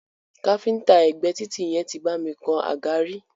Káfíńńtà ẹ̀gbé títì yẹn tí bá mi kan àga rí.